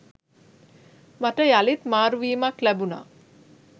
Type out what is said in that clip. මට යළිත් මාරුවීමක් ලැබුණා.